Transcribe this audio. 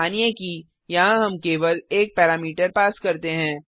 मानिए कि यहाँ हम केवल एक पैरामीटर पास करते हैं